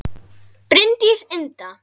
Bryndís Inda